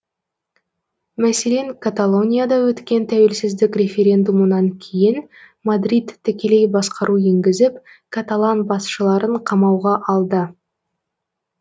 мәселен каталонияда өткен тәуелсіздік референдумынан кейін мадрид тікелей басқару енгізіп каталан басшыларын қамауға алды